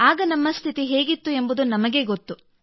ಆಗ ನಮ್ಮ ಸ್ಥಿತಿ ಹೇಗಿತ್ತು ಎಂಬುದು ನಮಗೇ ಗೊತ್ತು